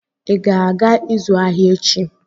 ị ga-aga ịzụ ahịa echi?